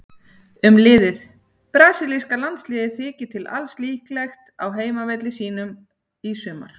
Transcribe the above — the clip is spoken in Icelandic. Um liðið: Brasilíska landsliðið þykir til alls líklegt á heimavelli sínum í sumar.